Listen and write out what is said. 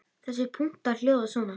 Þessir punktar hljóða svona